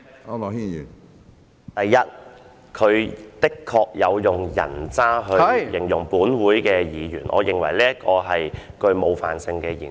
主席，第一，他的確有以"人渣"一詞來形容立法會議員。我認為這是冒犯性的言詞。